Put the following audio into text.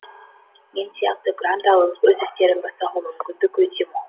мен сияқты грант алып өз істерін бастауға мүмкіндік өте мол